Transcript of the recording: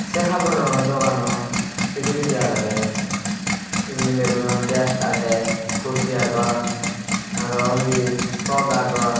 se haborano doganot bidiredi agedey he mileygunor dress agey kurti agon aro undi frok agon.